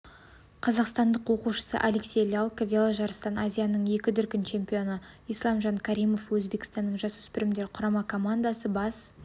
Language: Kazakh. қазақстан оқушысы алексей лялько веложарыстан азияның екі дүркін чемпионы исламжан каримов өзбекстанның жасөспірімдер құрама командасы бас